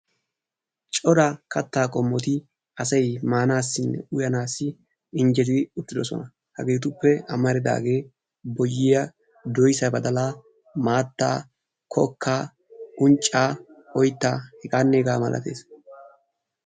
cora kataa qommoti asay maanassi uyyanaassi injjetidi uttidosona. haggetuppe ammaridaageeti maataa, kokkaa, unccaa oyttaa hegaanne hegaa malatees.